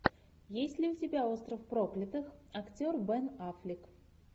есть ли у тебя остров проклятых актер бен аффлек